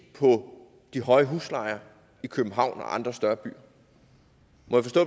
på de høje huslejer i københavn og andre større byer